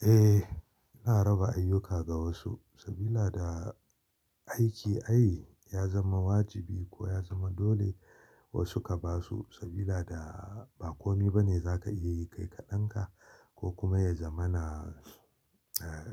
Eh, ina raba ayyuka ga wasu sabila da aiki ai ya zama wajibi ko ya zama dole wasu ka basu sabila da ba kome bane za ka iya yi kai kaɗan ka ko kuma ya zama na